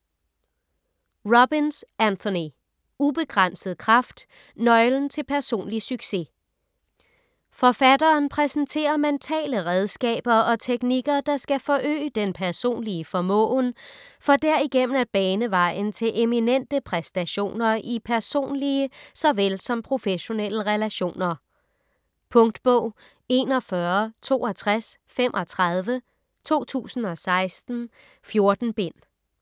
Robbins, Anthony: Ubegrænset kraft: nøglen til personlig succes Forfatteren præsenterer mentale redskaber og teknikker der skal forøge den personlige formåen for derigennem at bane vejen til eminente præstationer i personlige såvel som professionelle relationer. Punktbog 416235 2016. 14 bind.